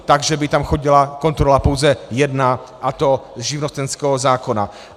Takže by tam chodila kontrola pouze jedna, a to z živnostenského zákona.